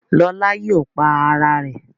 Lola yóò pá Àrà rẹ̀.